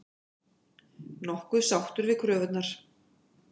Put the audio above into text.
Nokkuð sáttur við kröfurnar